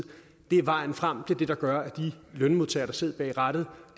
er vejen frem det er det der gør at de lønmodtagere der sidder bag rattet